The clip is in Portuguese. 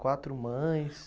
Quatro mães?